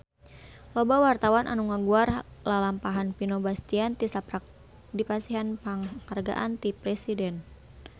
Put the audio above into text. Loba wartawan anu ngaguar lalampahan Vino Bastian tisaprak dipasihan panghargaan ti Presiden